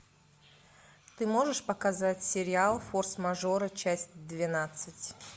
ты можешь показать сериал форс мажоры часть двенадцать